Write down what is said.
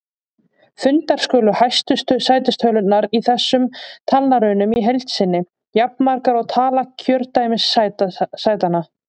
Fundnar skulu hæstu sætistölurnar í þessum talnarunum í heild sinni, jafnmargar og tala kjördæmissætanna.